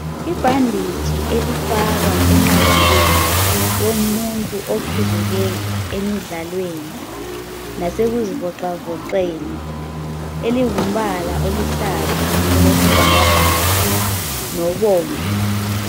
Ibhanditshi elifakwa enqagaleni yomuntu oqhuzuke emidlalweni lasekuzivoxavoxeni elingumbala oluhlaza okwesibhakabhaka lobomvu.